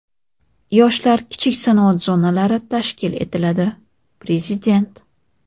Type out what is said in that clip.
Yoshlar kichik sanoat zonalari tashkil etiladi – Prezident.